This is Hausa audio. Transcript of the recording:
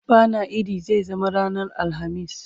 bana idi zai zama ranar alhamis